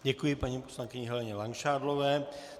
Děkuji paní poslankyni Heleně Langšádlové.